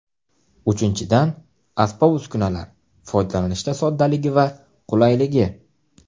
Uchinchidan , asbob-uskunalar foydalanishda soddaligi va qulayligi.